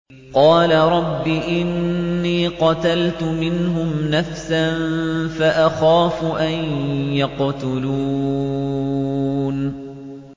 قَالَ رَبِّ إِنِّي قَتَلْتُ مِنْهُمْ نَفْسًا فَأَخَافُ أَن يَقْتُلُونِ